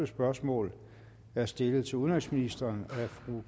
spørgsmål er stillet til udenrigsministeren af fru